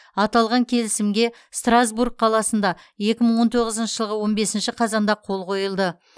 аталған келісімге стразбург қаласында екі мың он тоғызыншы жылғы он бесінші қазанда қол қойылды